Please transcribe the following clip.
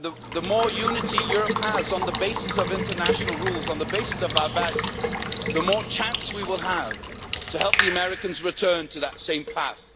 The more unity Europe has on the basis of international rules, on the basis of our values, the more chance we will have to help the Americans return to that same path.